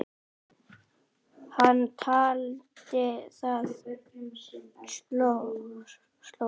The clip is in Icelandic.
Hann taldi það slór.